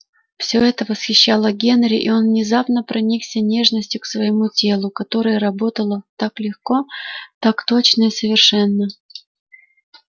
все это восхищало генри и он внезапно проникся нежностью к с воему телу которое работало так легко так точно и совершенно